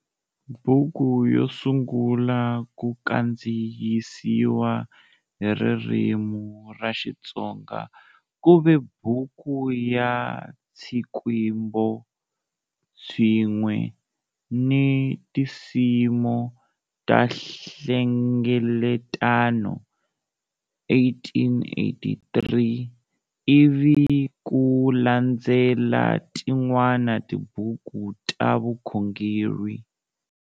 Buku yo sungula ku kandziyisiwa hi ririmi ra Xitsonga ku ve Buku ya Tšikwembo tšinwe ni Tisimo ta Hlengeletano,1883, ivi ku landzela tin'wana tibuku ta vukhongeri.